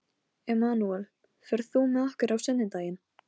Emanúel, ferð þú með okkur á sunnudaginn?